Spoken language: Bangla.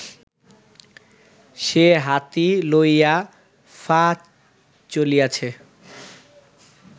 সে হাতি লইয়া ফা- চলিয়াছে